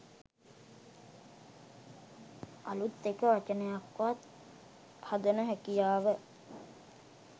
අළුත් එක වචනයක් වත් හදන හැකියාව